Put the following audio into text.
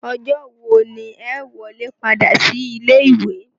Ọjọ́ wo ni ẹ ó wọlé padà sí ilé ìwé?